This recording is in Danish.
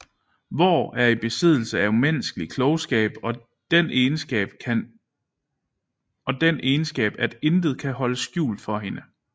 Vår er i besiddelse af umenneskelig klogskab og den egenskab at intet kan holdes skjult for hende